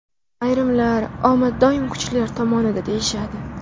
Ayrimlar omad doim kuchlilar tomonida deyishadi.